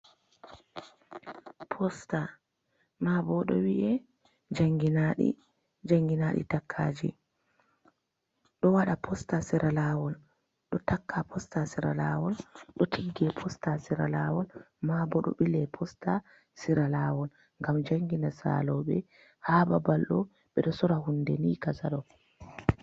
Posta, maa boo ɗon wi 'e jannginaaɗi, jannginaaɗi takkaaji, ɓe ɗo waɗa posta haa sera laawol, ɗo takka posta sera laawol, ɗo tigge posta sera laawol, maa bo ɗo ɓile posta sera laawol ngam janngina saalooɓe haa babalɗo, ɓeɗo soora huunde ni kaja ɗo.